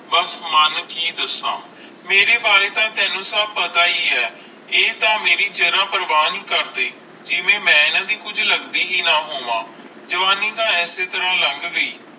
ਬਸ ਮਨ ਕਿ ਦਾਸ ਮੇਰੇ ਬਾਰੇ ਤਾ ਸਬ ਤੈਨੂੰ ਪਤਾ ਹੈ ਹੈ ਆਈ ਤਾ ਮੇਰੀ ਜ਼ਰਾ ਪ੍ਰਵਾ ਨਹੀਂ ਕਰਦੇ ਜਿਵੇ ਮਈ ਏਨਾ ਦੇ ਕੁਜ ਲੱਗ ਦੀ ਹੈ ਨਾ ਹੋਵੇ ਜਵਾਨੀ ਤਾ ਐਸੇ ਤਰ੍ਹਾਂ ਹੈ ਲੱਗ ਗਈ